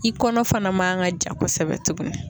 I kɔnɔ fana ma kan ka ja kosɛbɛ tugun